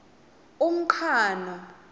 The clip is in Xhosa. umqhano